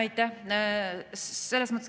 Aitäh!